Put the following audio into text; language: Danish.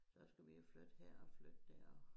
Så skulle vi jo flytte her og flytter dér